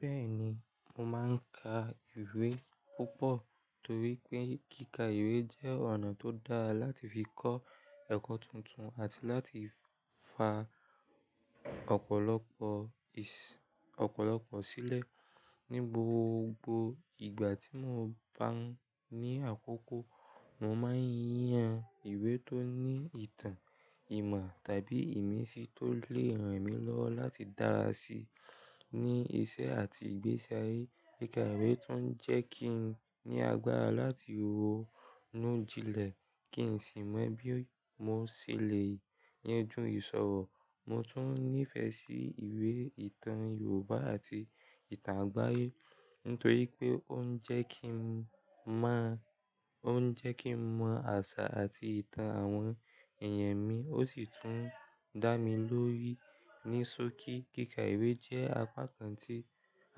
Bẹ́ẹ̀ni, mo máa ń ka ìwé púpọ̀ torí pé kíkà ìwé jẹ́ ọ̀nà tó dáa láti fi kọ́ ẹ̀kọ́ tuntun àti láti fa ọ̀pọ̀lọpọ̀, ọ̀pọ̀lọpọ̀ sílẹ̀. Ni gbogbo ìgbà tí mo bá ní àkókò, mo máa ń yan ìwé tó ní ìtàn, ìmọ̀ tàbí ìmísí tó lè ràn mí lọ́wọ́ láti dára sí i ní iṣẹ́ àti ìgbésí ayé. Kíkà ìwé tún jẹ́ kí n ní agbára láti ronú jinlẹ̀ kí n sì mọ̀ bí mo ṣe le yanjú ìṣòro. Mo tún nífẹ̀ẹ́ sí ìwé ìtàn Yorùbá àti ìtàn àgbáyé nítorí pé ó ń jẹ́ kí n mọ̀, ó ń jẹ́ kí n mọ àṣà àti ìtàn àwọn èèyàn mi, ó sì tún dá mi lórí ní sókí. Kíkà ìwé jẹ́ apá kan tí,